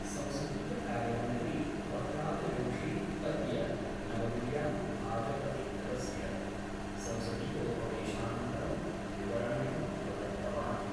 संसदीय कार्यमन्त्री प्रह्लादजोशी अद्य नवदिल्ल्यां भाजपतिदलस्य संसदीयोपवेशनंतरं विवरणमिदं प्रदत्तवान्।